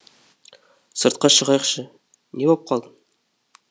сыртқа шығайықшы не боп қалды